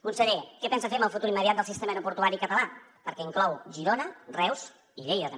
conseller què pensa fer amb el futur immediat del sistema aeroportuari català perquè inclou girona reus i lleida també